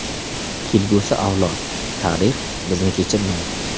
Kelgusi avlod, tarix bizni kechirmaydi.